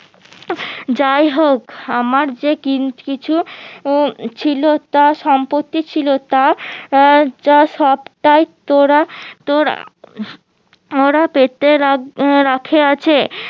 যাইহোক আমার যে কিছু ছিল তা সম্পত্তি ছিল তা আহ তা সবটাই তোরা তোরা তোরা পেতে রাখে আছে